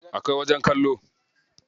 Akwai wajen kallo.